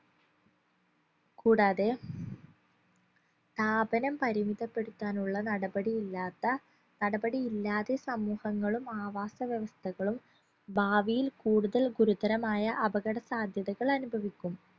കൂടാതെ താപനം പരിമിതപ്പെടുത്താനുള്ള നടപടി ഇല്ലാത്ത നടപടി ഇല്ലാതെ സമൂഹങ്ങളും ആവാസ വ്യവസ്ഥകളും ഭാവിയിൽ കൂടുതൽ ഗുരുതരമായ അപകട സാധ്യതകൾ അനുഭവിക്കും